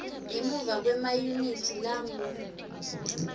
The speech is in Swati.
ngemuva kwemayunithi langu